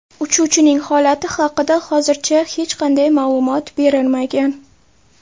Uchuvchining holati haqida hozircha hech qanday ma’lumot berilmagan.